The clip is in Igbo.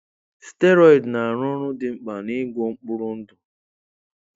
Steroid na-arụ ọrụ dị mkpa n'ịgwọ mkpụrụ ndụ.